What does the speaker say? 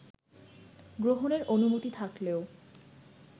গ্রহণের অনুমতি থাকলেও